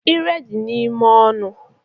Ire dị ime n'ọnụ